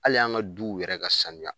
Hali an ka duw yɛrɛ ka saniya.